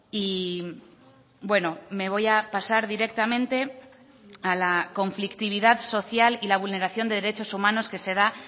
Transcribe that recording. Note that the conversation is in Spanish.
y bueno me voy a pasar directamente a la conflictividad social y la vulneración de derechos humanos que se da